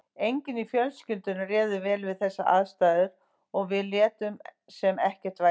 Enginn í fjölskyldunni réð vel við þessar aðstæður og við létum sem ekkert væri.